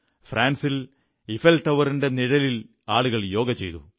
ഫ്രാൻസിൽ ഈഫൽ ടവറിന്റെ നിഴലിൽ ആളുകൾ യോഗ ചെയ്തു